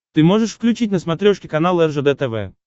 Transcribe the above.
ты можешь включить на смотрешке канал ржд тв